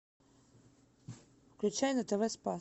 включай на тв спас